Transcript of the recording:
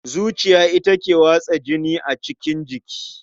Zuciya ita ke watsa jini a cikin jiki.